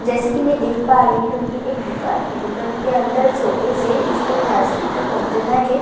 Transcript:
जैसे कि मैं देख पा रही हूं ये एक दुकान है दुकान के अंदर शोकेस है इसमें प्लास्टिक का कंटेनर है --